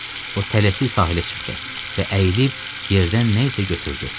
O tələsik sahilə çıxdı və əyilib yerdən nə isə götürdü.